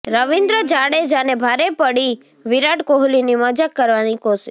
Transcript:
રવિન્દ્ર જાડેજાને ભારે પડી વિરાટ કોહલીની મજાક કરવાની કોશિશ